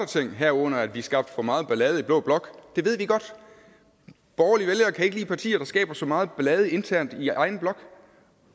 ting herunder at vi skabte for meget ballade i blå blok det ved vi godt borgerlige vælgere kan ikke lide partier der skaber så meget ballade internt i egen blok